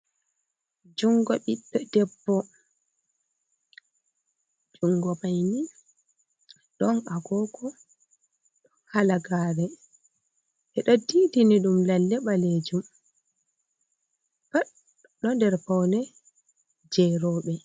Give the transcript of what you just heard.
jungo ɓiddo debbo, jungo maini don agogo do halagare edo didini dum lalle balejum patdo der paune jerobe.